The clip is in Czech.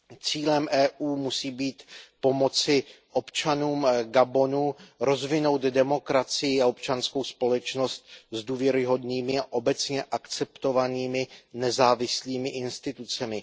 Cílem Evropské unie musí být pomoci občanům Gabonu rozvinout demokracii a občanskou společnost s důvěryhodnými a obecně akceptovanými nezávislými institucemi.